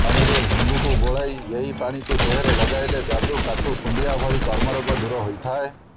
ପାଣିରେ ହିଙ୍ଗୁକୁ ଗୋଳି ଏହି ପାଣିକୁ ଦେହରେ ଲଗାଇଲେ ଯାଦୁ କାଛୁ କୁଣ୍ଡିଆ ଭଳି ଚର୍ମରୋଗ ଦୂର ହୋଇଥାଏ